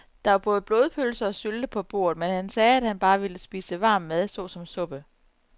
Der var både blodpølse og sylte på bordet, men han sagde, at han bare ville spise varm mad såsom suppe.